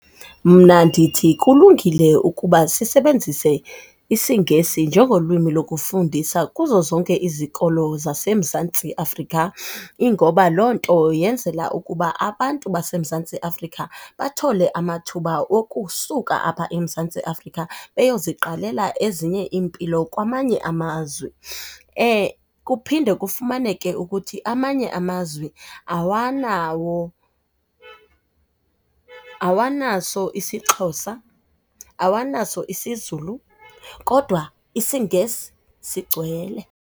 Mna ndithi kulungile ukuba sisebenzise isiNgesi njengolwimi lokufundisa kuzo zonke izikolo zaseMzantsi Afrika. Ingoba loo nto yenzela ukuba abantu baseMzantsi Afrika bathole amathuba okusuka apha eMzantsi Afrika beyoziqalela ezinye iimpilo kwamanye amazwe. Kuphinde kufumaneke ukuthi amanye amazwe awanawo, awanaso isiXhosa, awanaso isiZulu, kodwa isiNgesi sigcwele.